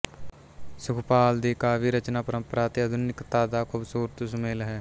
ਸੁਖਪਾਲ ਦੀ ਕਾਵਿ ਰਚਨਾ ਪਰੰਪਰਾ ਤੇ ਆਧੁਨਿਕਤਾ ਦਾ ਖੂਬਸੂਰਤ ਸੁਮੇਲ ਹੈ